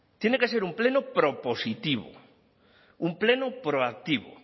tiene que ser un pleno propositivo un pleno proactivo